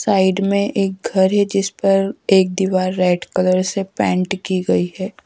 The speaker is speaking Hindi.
साइड में एक घर है जिस पर एक दीवार रेड कलर से पेंट की गई है।